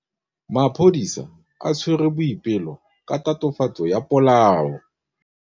Maphodisa a tshwere Boipelo ka tatofatsô ya polaô.